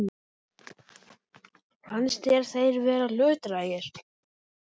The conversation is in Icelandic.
Fannst þér þeir vera hlutdrægir?